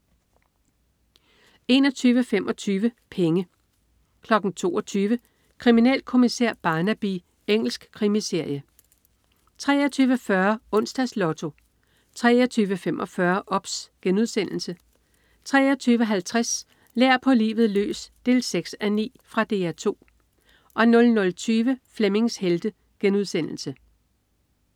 21.25 Penge 22.00 Kriminalkommissær Barnaby. Engelsk krimiserie 23.40 Onsdags Lotto 23.45 OBS* 23.50 Lær på livet løs 6:9. Fra DR 2 00.20 Flemmings Helte*